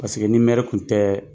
Paseke ni nɛri kun tɛ.